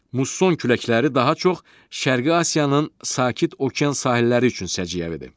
Musson küləkləri daha çox Şərqi Asiyanın Sakit Okean sahilləri üçün səciyyəvidir.